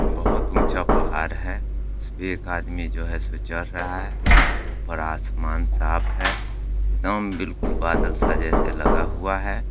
बहुत ऊँचा पहाड़ है उसपे एक आदमी जो है सो चढ़ रहा है ऊपर आसमान साफ़ है एकदम बिलकुल बादल सा जैसे लग हुआ है।